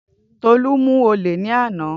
Tolu mu ole ni ana